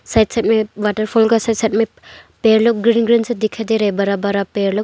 Side side मे waterfall का side मे पेड़ लोग ग्रीन ग्रीन से दिखाई दे रहे है बरा बरा पेड़ लोग।